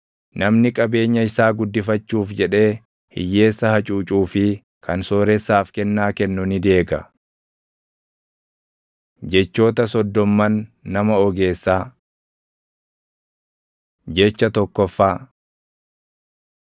Namni qabeenya isaa guddifachuuf jedhee hiyyeessa hacuucuu fi kan sooressaaf kennaa kennu ni deega. Jechoota Soddomman Nama Ogeessaa Jecha tokkoffaa